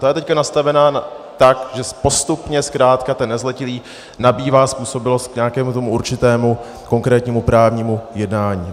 Ta je teď nastavena tak, že postupně zkrátka ten nezletilý nabývá způsobilost k nějakému tomu určitému konkrétnímu právnímu jednání.